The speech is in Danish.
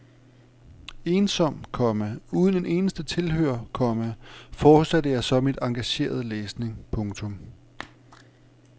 Ensom, komma uden en eneste tilhører, komma fortsatte jeg så min engagerede læsning. punktum